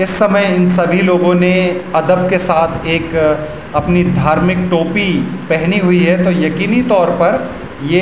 इस समय इन सभी लोगो ने आदर के साथ अपनी एक अपनी धार्मिक टोपी पहनी हुई है तो यकीनी तौर पर ये --